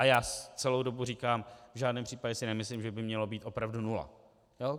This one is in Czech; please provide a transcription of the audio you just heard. A já celou dobu říkám, v žádném případě si nemyslím, že by mělo být opravdu nula.